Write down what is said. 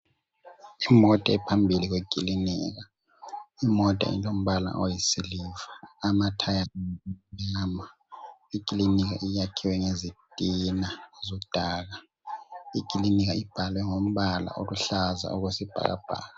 Imota ephambili kwekilinka, imota ilombala oyisiliva, lama thaya amnyama, ikilinika iyakhiwe ngezitina zodaka, ikilinika ibhalwe ngombala oluhlaza okwesibhakabhaka.